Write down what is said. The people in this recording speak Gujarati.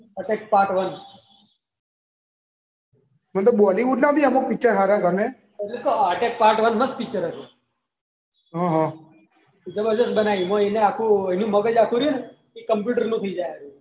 એટેક પાર્ટ મને તો બોલિવૂડના અમુક પિક્ચર હારા ગમે. એ જ તો એટેક પાર્ટ મસ્ત પિક્ચર હતું. હ હ. જબરજસ્ત પિક્ચર બનાવ્યું એનું મગજ રહ્યું ને આખું કોમ્પ્યુટર નું થઈ જાય.